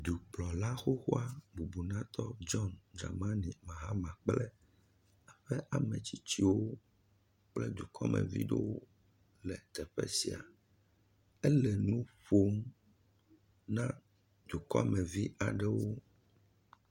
Dukplɔla xoxoa bubunatɔ John Dramani Mahama kple eƒe ame tsitsiwo kple dukɔmevi ɖewo le teƒe sia. Ele nu ƒom na dukɔmevi aɖewo.